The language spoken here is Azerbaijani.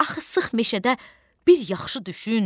Axı sıx meşədə bir yaxşı düşün: